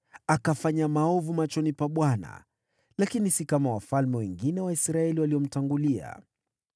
Akafanya maovu machoni pa Bwana , lakini si kama wafalme wengine wa Israeli waliomtangulia.